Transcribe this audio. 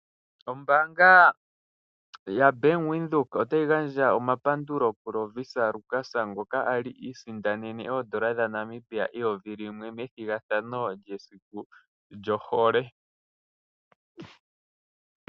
Ombaanga yaBank Windhoek otayi gandja omapandulo kuLovisa Lukas konga a li iisindanene oodola dhaNamibia eyovi limwe methigathano lyesiku lyohole.